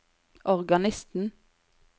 organisten